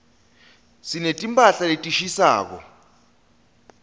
sineti mphahla letishisako